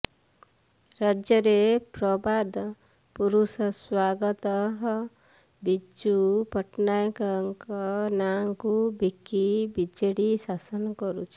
ରାଜ୍ୟରେ ପ୍ରବାଦ ପୁରୁଷ ସ୍ୱର୍ଗତଃ ବିଜୁ ପଟ୍ଟନାୟକଙ୍କ ନାଁକୁ ବିକି ବିଜେଡି ଶାସନ କରୁଛି